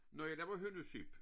Når jeg laver hønnusyp